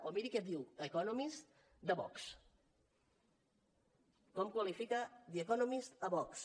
o miri què diu the economist de vox com qualifica the economist a vox